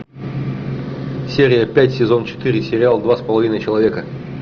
серия пять сезон четыре сериал два с половиной человека